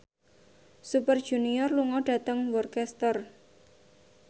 Super Junior lunga dhateng Worcester